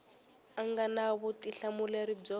a nga na vutihlamuleri byo